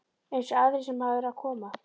Eins og aðrir sem hafa verið að koma?